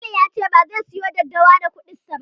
Jamilu ya ce bazai siyo daddawa da kuɗinsa ba.